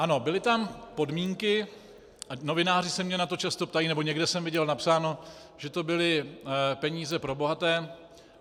Ano, byly tam podmínky, novináři se mě na to často ptají, nebo někde jsem viděl napsáno, že to byly peníze pro bohaté.